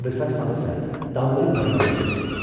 Əbülfət xan isə danlayıb məzəmmət etdi.